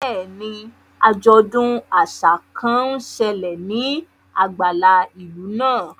Bẹ́ẹ̀ni, ajọdun aṣa kan n ṣẹlẹ ni agbala ilu naa.